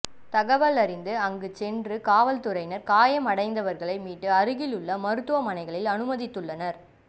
தகவலறிந்த அங்கு சென்று காவல்துறையினர் காயமடைந்தவர்களை மீட்டு அருகில் உள்ள மருத்துவமனைகளில் அனுமதித்துள்ளனர்